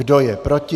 Kdo je proti?